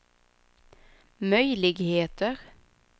möjligheter